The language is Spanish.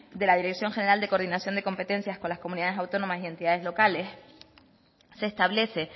de la dirección general de coordinación de competencias con las comunidades autónomas y entidades locales se establece